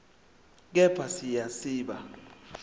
kepha siya siba